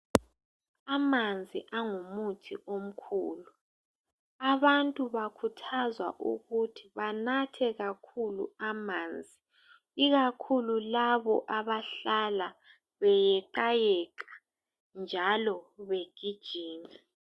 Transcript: Amanzi angumuthi omkhulu abantu bakhuthazwa ukuthi banathe kakhulu amanzi ikakhulu labo abahlala beyeqayeqa njalo begijima.